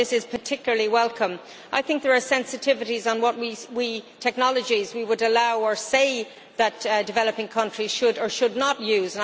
So this is particularly welcome. I think there are sensitivities on what technologies we would allow, or say that developing countries should, or should not, use.